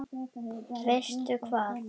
Veistu hvað.